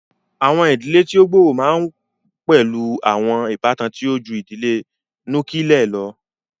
Awọn idile ti o gbooro ma n pẹlu awọn ibatan ti o ju idile nukiilie lọ.